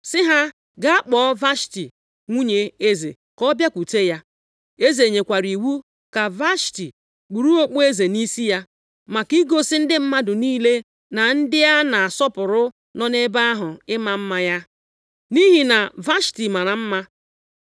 sị ha gaa kpọọ Vashti nwunye eze ka ọ bịakwute ya. Eze nyekwara iwu ka Vashti kpuru okpueze nʼisi ya, maka igosi ndị mmadụ niile na ndị a na-asọpụrụ nọ nʼebe ahụ ịma mma ya. Nʼihi na Vashti mara mma.